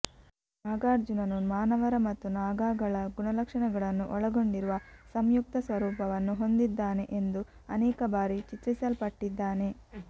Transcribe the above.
ನಾಗಾರ್ಜುನನು ಮಾನವರ ಮತ್ತು ನಾಗಾಗಳ ಗುಣಲಕ್ಷಣಗಳನ್ನು ಒಳಗೊಂಡಿರುವ ಸಂಯುಕ್ತ ಸ್ವರೂಪವನ್ನು ಹೊಂದಿದ್ದಾನೆ ಎಂದು ಅನೇಕ ಬಾರಿ ಚಿತ್ರಿಸಲ್ಪಟ್ಟಿದ್ದಾನೆ